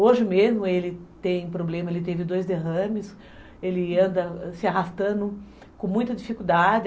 Hoje mesmo ele tem problema, ele teve dois derrames, ele anda se arrastando com muita dificuldade.